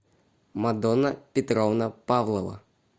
мадонна петровна павлова